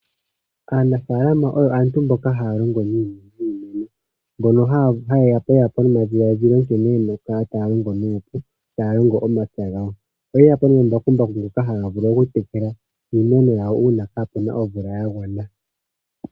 Aanafalama oyo aantu mboka haya longo niimeno mbono hayeya po nomadhilaadhilo nkene yena oku kala taya longo nuupu, taya longa omapya gawo. Oye yapo nomambakumbaku ngono haga vulu oku tekela iimeno yawo uuna kaapena oomvula yagwana.